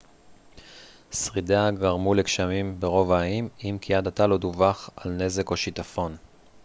שרידיה גרמו לגשמים ברוב האיים אם כי עד עתה לא דווח על נזק או שיטפון